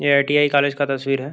ये ITI college का तस्वीर है।